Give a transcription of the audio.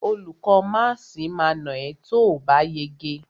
Olùkó máàsì ma nà ẹ́ tóòbá yege.